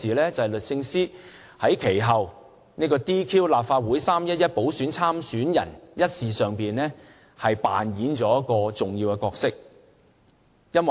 便是律政司司長在其後 "DQ" 立法會3月11日補選參選人一事上扮演了重要的角色。